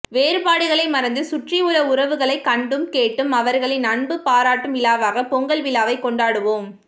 வேறுபாடுகளை மறந்து சுற்றியுள்ள உறவுகளை கண்டும் கேட்டும் அவர்களின் அன்பு பாராட்டும் விழாவாக பொங்கல் விழாவை கொண்டாடுவோம்